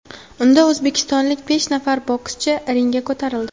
Unda o‘zbekistonlik besh nafar bokschi ringga ko‘tarildi.